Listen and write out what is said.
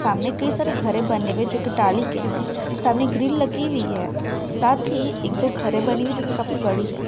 सामने कई सारे घरे बने हुए है जो की के है सामने ग्रिल लगी हुई है साथ ही एक दो घरे बनी हुई है जो की काफी बड़ी है।